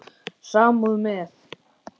Samúð með